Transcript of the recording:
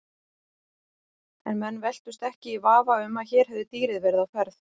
En menn velktust ekki í vafa um að hér hefði dýrið verið á ferð.